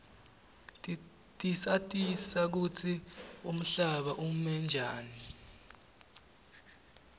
tisatisa kutsi umhlaba ume njani